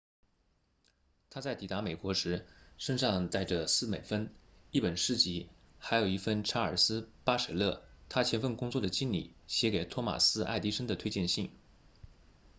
他在抵达美国时身上带着4美分、一本诗集还有一封查尔斯•巴舍勒 charles batchelor 他前份工作的经理写给托马斯•爱迪生 thomas edison 的推荐信